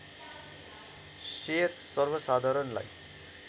share सर्वसाधारणलाई